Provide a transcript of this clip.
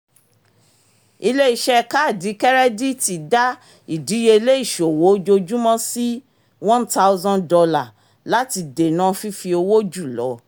ilé-iṣẹ́ kaadi kẹ́rẹ́díìtì dá ìdìyelé ìṣòwò ojoojúmọ́ sí one thousand dolar láti dènà fífi owó jù lọ